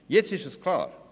Jetzt ist es klar: